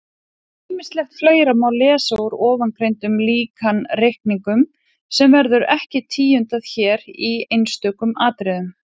Ýmislegt fleira má lesa úr ofangreindum líkanreikningum sem verður ekki tíundað hér í einstökum atriðum.